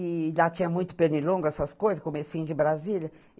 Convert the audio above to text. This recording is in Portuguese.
E lá tinha muito pernilongo, essas coisas, comecinho de Brasília.